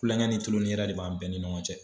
Kulonkɛ ni tulon ni yɛlɛ de bɛ an bɛɛ ni ɲɔgɔn cɛ.